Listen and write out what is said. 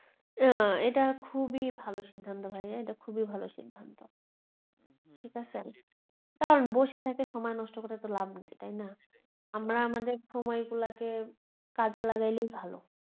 আহ এটা খুবই ভালো সিদ্ধান্ত ভাইয়া এটা খুবই ভালো সিদ্বান্ত ঠিকাছে কারন আর বসে থেকে সময় নষ্ট করে তো লাভ নেই তাইনা আমরা আমাদের সময় গুলাকে কাজে লাগাইলেই ভালো